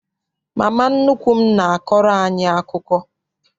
Mama nnukwu m n'akọrọ anyị akụkọ.